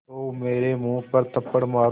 तो मेरे मुँह पर थप्पड़ मारो